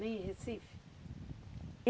Nem em Recife?